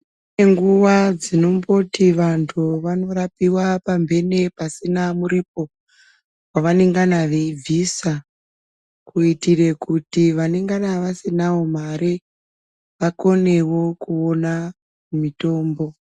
Kune nguwa dzinomboti vantu vanorapiwa pamphene pasina muripo, wevanengana veibvisa ,kuitire kuti vanengana vasinawo mare, vakonewo kuona mitombo.